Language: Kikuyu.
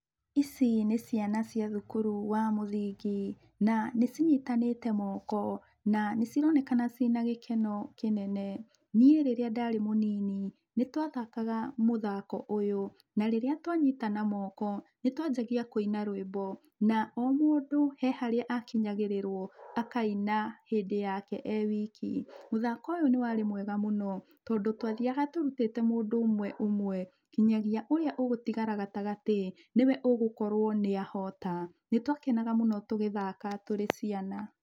Ici nĩ ciana cia thukuru wa mũthingi, na nĩ cinyitanĩte moko na nĩ cironekana cina gĩkeno kĩnene. Niĩ rĩrĩa ndarĩ mũnini nĩ twathakaga mũthako ũyũ, na rĩrĩa twanyitana moko, nĩ twanjagia kũina rwĩmbo. Na o mũndũ he harĩa akĩnyagĩrĩrwo akaina hĩndĩ yake e wiki. Mũthako ũyũ nĩ warĩ mwega mũno tondũ twathĩaga tũrutĩte mũndũ ũmwe ũmwe gĩnyagia ũrĩa ũgũtigara gatagatĩ, nĩ we ũgũkorwo nĩa hota. Nĩ twakenaga mũno tũgĩthaka tũrĩ ciana.